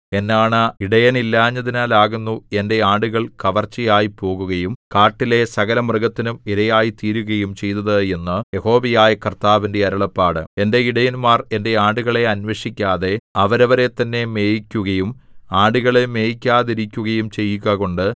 എന്നാണ ഇടയനില്ലാഞ്ഞതിനാലാകുന്നു എന്റെ ആടുകൾ കവർച്ചയായിപ്പോകുകയും കാട്ടിലെ സകലമൃഗത്തിനും ഇരയായിത്തീരുകയും ചെയ്തത് എന്ന് യഹോവയായ കർത്താവിന്റെ അരുളപ്പാട് എന്റെ ഇടയന്മാർ എന്റെ ആടുകളെ അന്വേഷിക്കാതെ അവരവരെത്തന്നെ മേയിക്കുകയും ആടുകളെ മേയിക്കാതെയിരിക്കുകയും ചെയ്യുകകൊണ്ട്